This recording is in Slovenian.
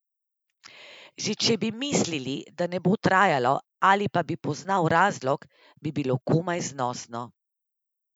Že če bi mislil, da ne bo trajalo ali pa bi poznal razlog, bi bilo komaj znosno.